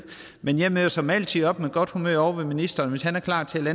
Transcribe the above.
men jeg møder som altid op med godt humør ovre ved ministeren hvis han er klar til at